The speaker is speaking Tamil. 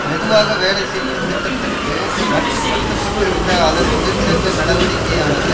மெதுவாக வேலை செய்யும் திட்டத்திற்கு மட்டுப்படுத்தப்பட்டிருந்த அதன் தொழிற்சங்க நடவடிக்கையானது